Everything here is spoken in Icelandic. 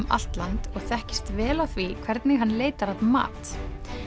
allt land og þekkist vel á því hvernig hann leitar að mat